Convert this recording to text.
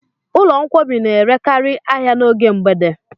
Ụlọ nkwọbi n'erekari ahịa n'oge mgbede